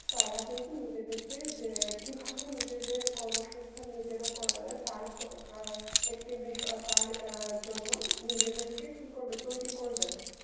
তারা কিন্তু নিজেকে যে কিভাবে নিজেদের কর্মসংস্থান নিজেরা করা যায়তার ফ~ অ্যাঁ একটি বিষয়~ তার অ্যাঁ জন্য নিজেদেরকে কি করবে তৈরি করবে